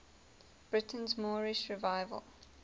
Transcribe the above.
britain's moorish revival